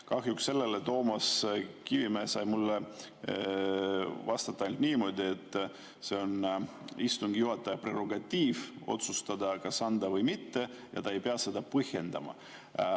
Kahjuks sellele Toomas Kivimägi sai mulle vastata ainult niimoodi, et see on istungi juhataja prerogatiiv otsustada, kas anda või mitte, ja ta ei pea seda põhjendama.